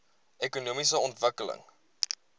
ekonomiese ontwikkeling